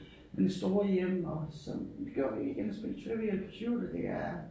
Den store hjem og sådan går vi ind og spille Trivial Pursuit og det er